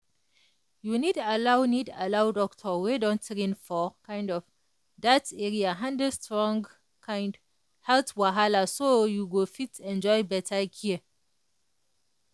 you need allow need allow doctor wey don train for um that area handle strong um health wahala so you go fit enjoy better care.